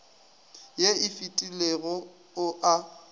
ye e fetilego o a